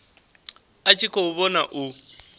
a tshi khou vhona u